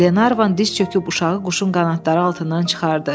Lenarvan diz çöküb uşağı quşun qanadları altından çıxardı.